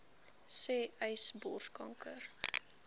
sê uys borskanker